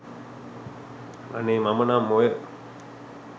අනේ මම නම් ඔය